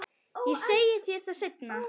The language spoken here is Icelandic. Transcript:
Ég segi þér það seinna.